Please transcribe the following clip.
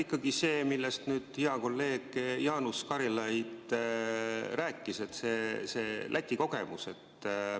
Ikkagi see, millest nüüd hea kolleeg Jaanus Karilaid rääkis – Läti kogemus.